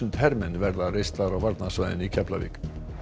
hermenn verða reistar á varnarsvæðinu í Keflavík